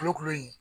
Kolokolo in